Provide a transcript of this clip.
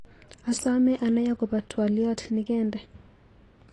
Asame anai akobo twaliot nikende.